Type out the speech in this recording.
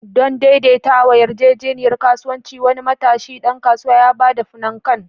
Don daidaita yarjejeniyar kasuwanci, wani matashi ɗan kasuwa ya ba da "pnkan."